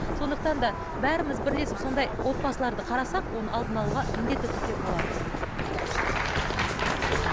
сондықтан да бәріміз бірлесіп сондай отбасыларды қарасақ оның алдын алуға міндетті түрде болады